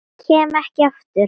Kem ekki aftur.